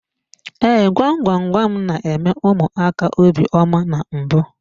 Ee, gwam gwam gwam n'eme ụmụaka obiọma na mbụ.